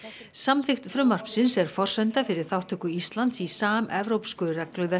samþykkt frumvarpsins er forsenda fyrir þátttöku Íslands í samevrópsku regluverki